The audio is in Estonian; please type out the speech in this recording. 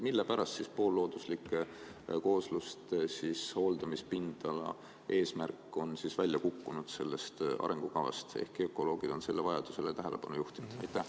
Mille pärast on poollooduslike koosluste hooldamise pindala eesmärk sellest arengukavast välja kukkunud, ehkki ökoloogid on selle vajadusele tähelepanu juhtinud?